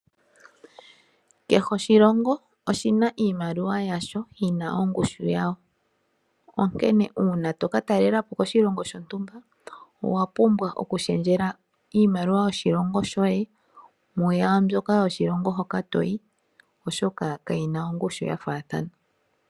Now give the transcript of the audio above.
Kehe oshilongo oshina iimaliwa yasho yina ongushu yawo. Onkene uuna toka talela po koshilongo shontumba, owapumbwa okushendjela iimaliwa yoshilongo shoye mwaambyoka yoshilongo hoka toyi, oshoka kayina ongushu ya faathana.